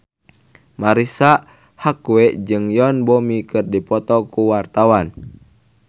Marisa Haque jeung Yoon Bomi keur dipoto ku wartawan